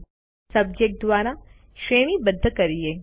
હવે સબ્જેક્ટ દ્વારા શ્રેણીબદ્ધ કરીએ